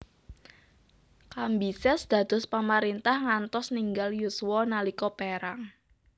Kambises dados pamarintah ngantos ninggal yuswa nalika perang